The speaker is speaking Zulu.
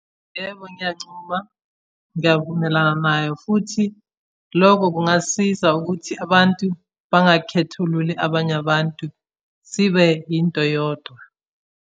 Yebo, ngiyancuma ngiyavumelana nayo futhi lokho kungasiza ukuthi abantu bangakhethululi abanye abantu. Sibe yinto eyodwa.